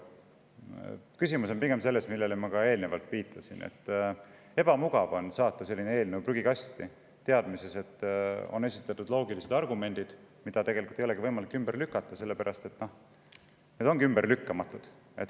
Küsimus on pigem selles, millele ma ka eelnevalt viitasin: ebamugav on saata eelnõu prügikasti teadmises, et on esitatud loogilised argumendid, mida tegelikult ei olegi võimalik ümber lükata, sellepärast et need on ümberlükkamatud.